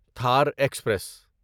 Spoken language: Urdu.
تھار ایکسپریس